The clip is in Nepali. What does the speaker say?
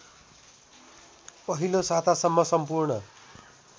पहिलो सातासम्म सम्पूर्ण